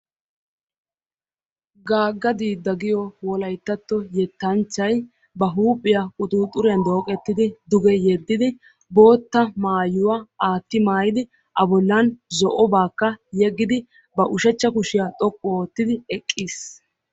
Gaagga diidda giyoo wolayttatto yettanchchay ba huuphphiyaa quxuxuriyaan dooqettidi duge yeddidi bootta maayuwaa aatti maayidi a bollan zo'obaakka yeggidi ba ushshachcha kushiyaa xoqqu oottidi eqqiis.